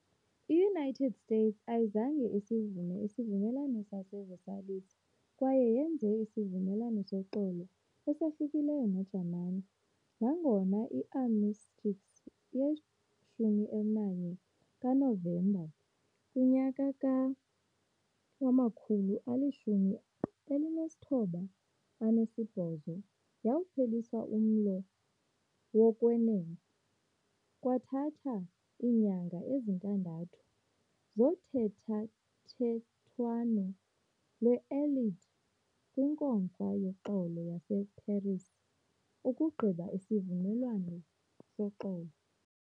IUnited States ayizange isivume isivumelwano saseVersailles kwaye yenze isivumelwano soxolo esahlukileyo neJamani. Nangona i- armistice ye-11 kaNovemba ka-1918 yawuphelisa umlo wokwenene, kwathatha iinyanga ezintandathu zothethathethwano lwe-Allied kwiNkomfa yoXolo yaseParis ukugqiba isivumelwano soxolo.